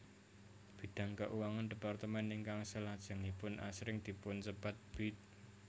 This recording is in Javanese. Bidang keuangan departemen ingkang salajengipun asring dipunsebat Bid